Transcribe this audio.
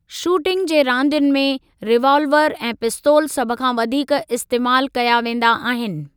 Shooting जे रांदियुनि में, रीवालवर ऐं पिस्तोल सभ खां वधीक इस्तेमालु कया वेंदा आहिनि।